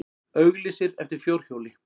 Auglýsir eftir fjórhjóli